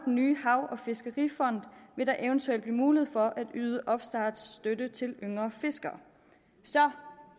nye hav og fiskerifond vil der eventuelt blive mulighed for at yde opstartsstøtte til yngre fiskere så